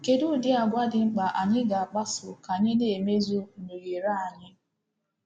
Kedu udi àgwà dị mkpa anyị ga-akpaso ka anyị na-emezu nhunyere anyị?